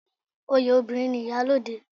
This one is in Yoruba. Oyè obìnrin ni iyalode